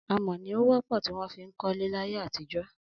Amọ̀ ni ó wọ́pọ̀ tí wọ́n fi ń kọ́lé láyé àtijọ́